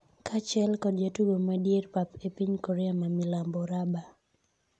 kaachiel kod jatugo madier pap e piny Korea ma milambo ,Raba